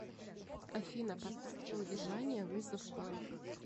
афина поставь на удержание вызов банк